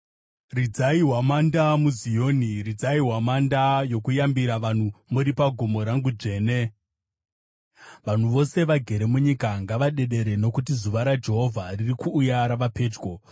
Ridzai hwamanda muZioni; ridzai hwamanda yokuyambira vanhu muri pagomo rangu dzvene. Vanhu vose vagere munyika ngavadedere nokuti zuva raJehovha riri kuuya. Rava pedyo,